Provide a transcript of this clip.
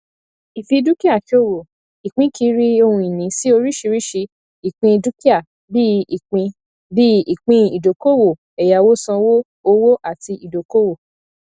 ìfidúkìáṣòwò ìpínkiri ohunìní sí oríṣiríṣi ìpín dúkìá bíi ìpín bíi ìpín ìdókòwò ẹyáwósanwó owó àti ìdókòwò